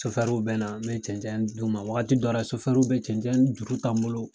bɛna na mɛ cɛncɛn d'u ma wagati dɔw bɛ cɛncɛn juru ta n bolo.